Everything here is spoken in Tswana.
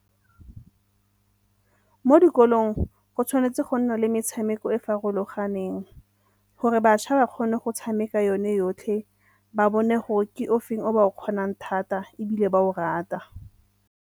Mo dikolong go tshwanetse go nna le metshameko e farologaneng gore bašwa ba kgone go tshameka yone yotlhe ba bone gore ke o feng o ba o kgonang thata ebile ba o rata.